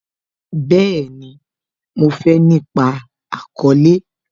Bẹẹni, mo fé nípa àkọ́lẹ́